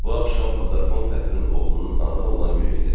Bu axşam Bazarkon Fətinin oğlunun anadan olan günü idi.